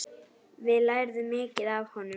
Við lærðum mikið af honum.